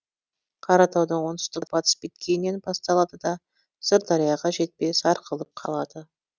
қаратаудың оңтүстік батыс беткейінен басталады да сырдарияға жетпей сарқылып қалады